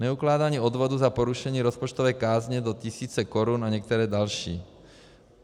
Neukládání odvodů za porušení rozpočtové kázně do tisíce korun a některé další.